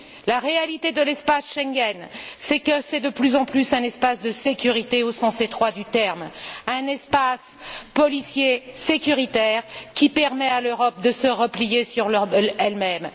La réalité de l'espace Schengen, c'est que c'est de plus en plus un espace de sécurité au sens étroit du terme, un espace policier sécuritaire qui permet à l'Europe de se replier sur elle même.